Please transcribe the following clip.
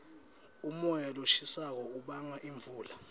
umoya loshisako ubanga imvula